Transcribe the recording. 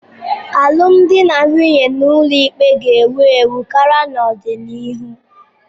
Alụmdi na nwunye n'ụlọikpe ga-ewu ewu karị n'ọdịnihu.